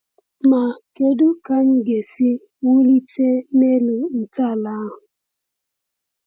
Ma kedu ka anyị ga-esi wulite n’elu ntọala ahụ?